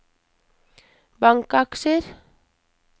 bankaksjer